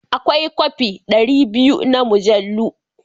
Akwai kofe ɗari biyu na mujallu.